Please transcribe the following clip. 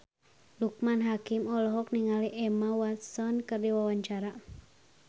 Loekman Hakim olohok ningali Emma Watson keur diwawancara